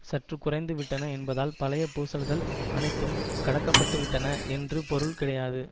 சற்று குறைந்து விட்டன என்பதால் பழைய பூசல்கள் அனைத்தும் கடக்கப்பட்டுவிட்டன என்று பொருள் கிடையாது